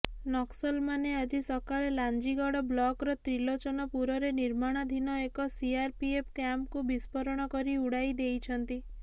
ନକ୍ସଲମାନେ ଆଜି ସକାଳେ ଲାଞ୍ଜିଗଡ଼ ବ୍ଲକର ତ୍ରିଲୋଚନପୁରରେ ନିର୍ମାଣାଧୀନ ଏକ ସିଆରପିଏଫ୍ କ୍ୟାମ୍ପକୁ ବିସ୍ଫୋରଣ କରି ଉଡାଇଦେଇଛନ୍ତି